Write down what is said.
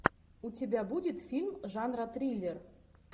у тебя будет фильм жанра триллер